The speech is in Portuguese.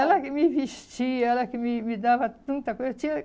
Ela que me vestia, ela que me me dava tanta coisa. Tinha